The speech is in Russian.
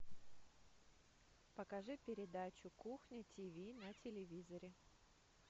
покажи передачу кухня тв на телевизоре